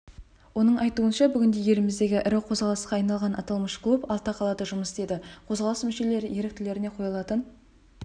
оның айтуынша бүгінде еліміздегі ірі қозғалысқа айналған аталмыш клуб алты қалада жұмыс істейді қозғалыс мүшелері-еріктілеріне қойылатын